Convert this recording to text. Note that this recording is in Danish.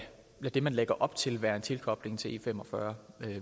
det man lægger op til være en tilkobling til e45